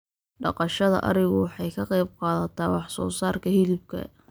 Dhaqashada arigu waxay ka qayb qaadataa wax soo saarka hilibka.